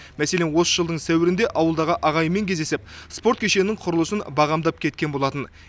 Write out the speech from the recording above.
мәселен осы жылдың сәуірінде ауылдағы ағайынмен кездесіп спорт кешенінің құрылысын бағамдап кеткен болатын